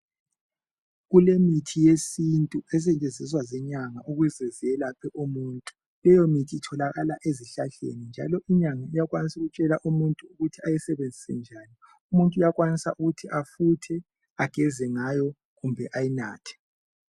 Kulemithi yesintu esetshenziswa zinyanga ukuze zelaphe umuntu leyo mithi itholakala ezihlahleni njalo inyanga iyakwanisa ukutshela umuntu ukuthi ayisebenzise njani. Umuntu uyakwanisa ukuthi afuthe, ageze ngayo kumbe ayinathe.